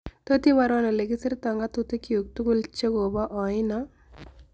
Totiiborwon olekigisirta ng'atutik kyuk tugul chegoboo oino